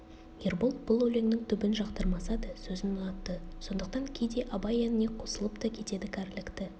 ербол бұл өлеңнің түбін жақтырмаса да сөзін ұнатты сондықтан кейде абай әніне қосылып та кетеді кәрілікті